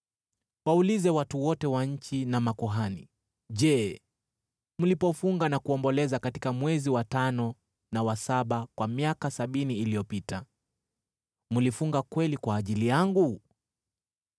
“Waulize watu wote wa nchi na makuhani, ‘Je, mlipofunga na kuomboleza katika mwezi wa tano na wa saba kwa miaka sabini iliyopita, mlifunga kweli kwa ajili yangu?